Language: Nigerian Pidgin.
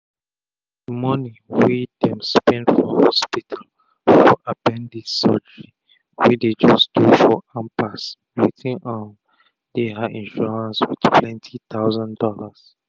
the money wey um dem spend for hospital for appendice surgery wey dey just do for ampass wetin um dey her insurance with plenty thousand dollars.